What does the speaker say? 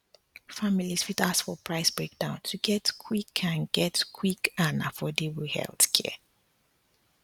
families fit ask for price breakdown to get quick and get quick and affordable healthcare